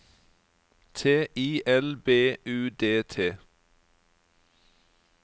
T I L B U D T